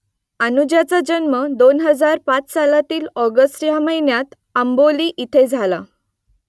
अनुजाचा जन्म दोन हजार पाच सालातील ऑगस्ट ह्या महिन्यात आंबोली इथे झाला